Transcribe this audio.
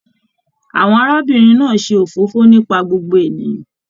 Àwọn arábìnrin náà n ṣe òfófó nípa gbogbo ènìyàn.